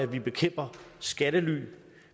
vi bekæmper skattely